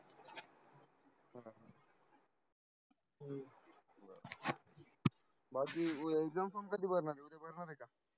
Exam form कधी भरणार आहे उद्बया भरणार आहेका?